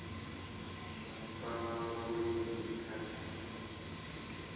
zwa kwama vhulimi kha shango